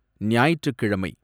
ஞாயிற்றுக்கிழமை